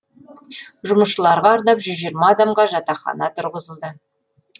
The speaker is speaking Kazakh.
жұмысшыларға арнап жүз жиырма адамға жатақхана тұрғызылды